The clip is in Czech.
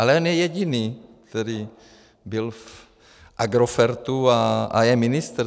Ale on je jediný, který byl v Agerofertu a je ministr.